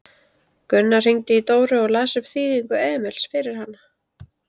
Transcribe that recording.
Gunnar hringdi í Dóru og las upp þýðingu Emils fyrir hana.